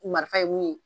Marifa ye mun ye